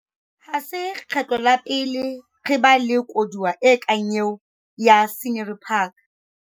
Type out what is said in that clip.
Ha se kgetlo la pele re ba le koduwa e kang eo ya Scenery Park.